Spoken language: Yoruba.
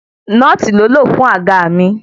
Nóòtì ló lò fún àga mí.